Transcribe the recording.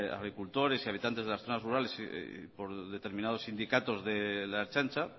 agricultores y habitantes de las zonas rurales y por determinados sindicatos de la ertzaintza